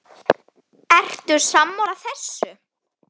Ertu sammála þessu?